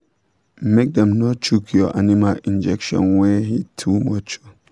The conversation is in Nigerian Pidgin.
make dem no chook your animal injection when heat too much